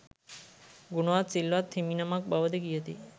ගුණවත් සිල්වත් හිමිනමක් බවද කියති.